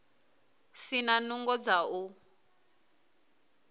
si na nungo dza u